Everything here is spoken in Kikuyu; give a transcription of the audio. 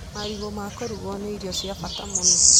Marigũ ma kũrugwo nĩ irio cia bata mũno.